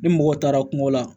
Ni mɔgɔ taara kungo la